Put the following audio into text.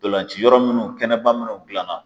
Donlanciyɔrɔ mun kɛnɛba munnu gilanna